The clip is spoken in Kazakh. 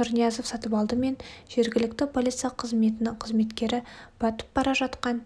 нұрниязов сатыпалды мен жергілікті полиция қызметінің қызметкері батып бара жатқан